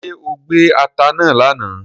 ṣe o gbé atá náa lànà?